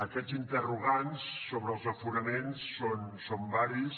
aquests interrogants sobre els aforaments són varis